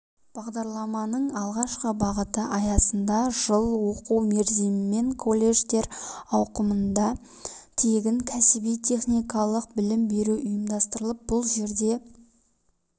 бағдарламаның алғашқы бағыты аясында жыл оқу мерзімімен колледждер ауқымында тегін кәсіби-техникалық білім беру ұйымдастырылып бұл жерде